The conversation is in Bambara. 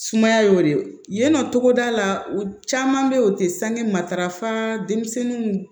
Sumaya y'o de ye yen nɔ togoda la u caman bɛ yen o tɛ sange matarafa denmisɛnninw